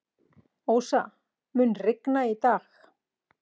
Ósa, mun rigna í dag?